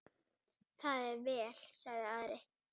Það er vel, sagði Ari.